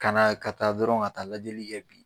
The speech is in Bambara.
Kana ka taa dɔrɔn ka taa lajɛli kɛ bi